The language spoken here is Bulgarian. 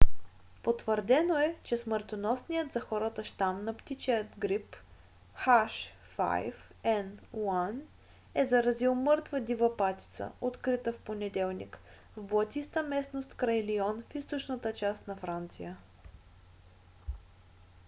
потвърдено е че смъртоносният за хората щам на птичия грип h5n1 е заразил мъртва дива патица открита в понеделник в блатиста местност край лион в източната част на франция